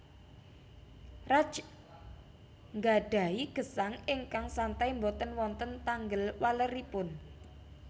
Raj nggadhahi gesang ingkang santai boten wonten tanggel waleripun